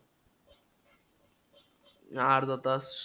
हे अर्धा तास,